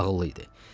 Ağıllı idi.